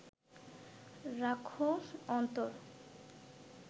রাখহ অন্তর